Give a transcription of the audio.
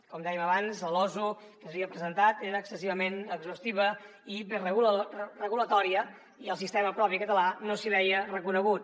com dèiem abans la losu que s’havia presentat era excessivament exhaustiva i regulatòria i el sistema propi català no s’hi veia reconegut